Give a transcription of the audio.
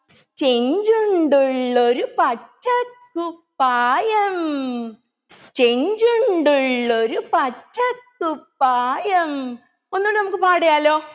ചെഞ്ചുണ്ടുള്ളൊരു പച്ചക്കുപ്പായം ചെഞ്ചുണ്ടുള്ളൊരു പച്ചക്കുപ്പായം ഒന്നൂടെ നമുക്ക് പാടിയാലോ